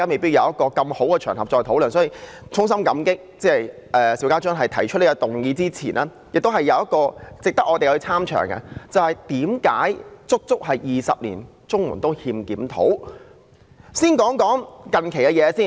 所以，在我衷心感激邵家臻議員提出這項議案之餘，還有一點值得我們參詳的，也就是為甚麼足足20年綜援都欠缺檢討。